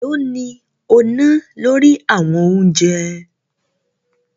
Èló ni o ná lórí àwọn oúnjẹ?